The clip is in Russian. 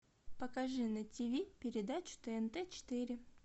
покажи на тв передачу тнт четыре